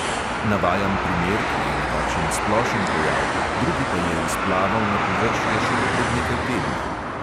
Navajam primer, ki je nekakšen splošen pojav, drugi pa je izplaval na površje šele pred nekaj tedni.